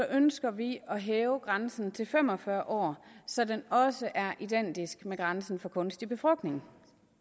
ønsker vi at hæve grænsen til fem og fyrre år så den også er identisk med grænsen for kunstig befrugtning